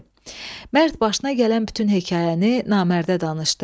Mərd başına gələn bütün hekayəni namərdə danışdı.